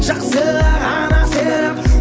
жақсыға ғана сеніп